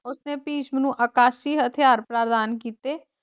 ਉਸਨੇ ਭਿਸ਼ਮ ਨੂੰ ਅਕਾਸ਼ੀ ਹਥਿਆਰ ਪ੍ਰਦਾਨ ਕੀਤੇ,